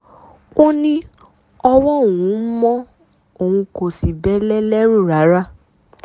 ó ní ọwọ́ òun mọ́ òun kò sì bẹ́lẹ̀ lẹ́rù rárá